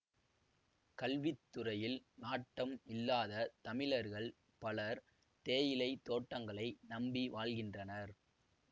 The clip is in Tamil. கல்வி துறையில் நாட்டம் இல்லாதத் தமிழர்கள் பலர் தேயிலை தோட்டங்களை நம்பி வாழ்கின்றனர்